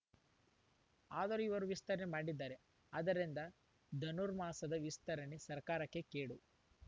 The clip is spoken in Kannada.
ಆದರೂ ಇವರು ವಿಸ್ತರಣೆ ಮಾಡಿದ್ದಾರೆ ಆದರಿಂದ ಧನುರ್ಮಾಸದ ವಿಸ್ತರಣೆ ಸರ್ಕಾರಕ್ಕೆ ಕೇಡು